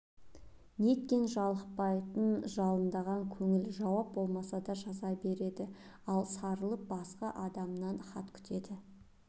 неткен жалықпайтын жалындаған көңіл жауап болмаса да жаза береді ал сарылып басқа адамнан хат күтеді